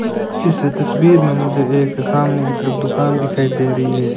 इस तस्वीर में मुझे एक सामने की तरफ दुकान दिखाई दे रही है।